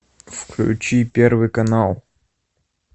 включи первый канал